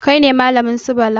Kai ne malamin su Bala?